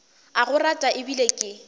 a go rata ebile ke